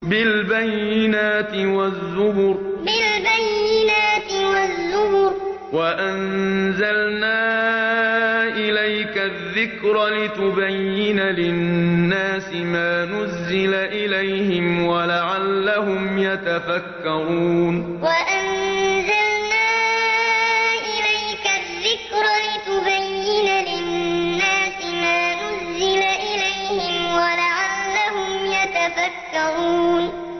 بِالْبَيِّنَاتِ وَالزُّبُرِ ۗ وَأَنزَلْنَا إِلَيْكَ الذِّكْرَ لِتُبَيِّنَ لِلنَّاسِ مَا نُزِّلَ إِلَيْهِمْ وَلَعَلَّهُمْ يَتَفَكَّرُونَ بِالْبَيِّنَاتِ وَالزُّبُرِ ۗ وَأَنزَلْنَا إِلَيْكَ الذِّكْرَ لِتُبَيِّنَ لِلنَّاسِ مَا نُزِّلَ إِلَيْهِمْ وَلَعَلَّهُمْ يَتَفَكَّرُونَ